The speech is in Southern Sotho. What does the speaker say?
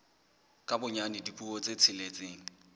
ka bonyane dipuo tse tsheletseng